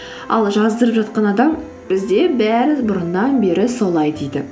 ал жаздырып жатқан адам бізде бәрі бұрыннан бері солай дейді